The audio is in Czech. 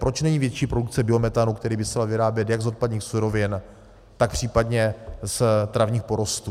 Proč není větší produkce biometanu, který by se dal vyrábět jak z odpadních surovin, tak případně z travních porostů.